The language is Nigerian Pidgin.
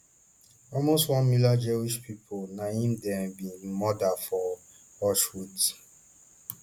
almost one million jewish pipo na im dem bin murder for auschwitz